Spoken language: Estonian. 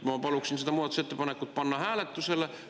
Ma paluksin selle muudatusettepaneku panna hääletusele.